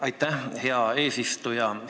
Aitäh, hea eesistuja!